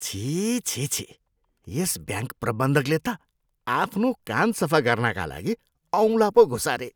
छिः छिः छिः। यस ब्याङ्क प्रबन्धकले त आफ्नो कान सफा गर्नाका लागि औँला पो घुसारे।